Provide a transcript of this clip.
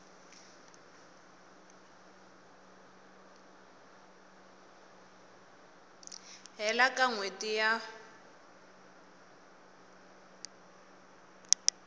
hela ka n hweti ya